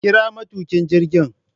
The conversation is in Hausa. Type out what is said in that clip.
kira matukin jirgin